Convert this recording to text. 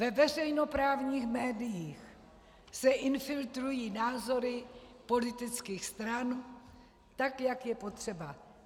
Ve veřejnoprávních médiích se infiltrují názory politických stran, tak jak je potřeba.